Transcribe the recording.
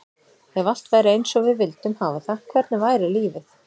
Ef allt væri eins og við vildum hafa það, hvernig væri lífið?